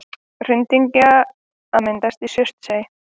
Hraundyngja að myndast í Surtsey.